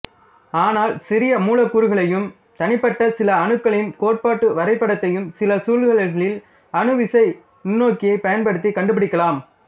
ஆனால் சிறிய மூலக்கூறுகளையும் தனிப்பட்ட சில அணுக்களின் கோட்டு வரைபடத்தையும் சில சூழல்களில் அணு விசை நுண்ணோக்கியைப் பயன்படுத்தி கண்டுபிடிக்கலாம்